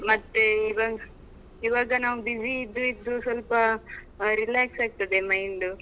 ಇವಾಗ ನಾವು busy ಇದ್ದು ಇದ್ದು ಸ್ವಲ್ಪಾ ಆ relax ಆಗ್ತದೆ mind .